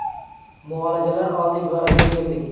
Muolajalar oldik va uyga keldik.